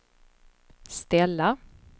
ställa